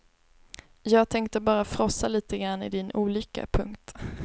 Jag tänkte bara frossa lite grann i din olycka. punkt